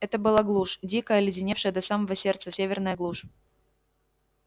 это была глушь дикая оледеневшая до самого сердца северная глушь